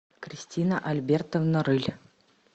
кристина альбертовна рыль